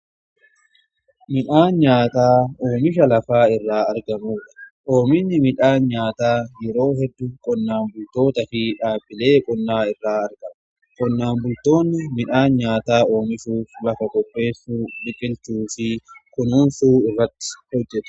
Midhaan nyaataa oomisha lafa irraa argamudha. Oomishni midhaan nyaataa yeroo heddu qonnaan bultoota fi dhaabbilee qonnaa irraa argama. Qonnaan bultoonni midhaan nyaataa oomishuuf lafa qopheessuu, biqilchuu fi kunuunsuu irratti hojjetu.